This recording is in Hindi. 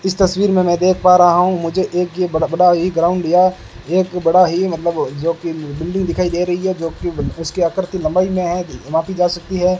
इस तस्वीर में मैं देख पा रहा हूं मुझे एक यह बड़ा बड़ा ही ग्राउंड या एक बड़ा ही मतलब जो की बिल्डिंग दिखाई दे रही है जो की उसकी आकृति लंबाई में है नापी जा सकती है।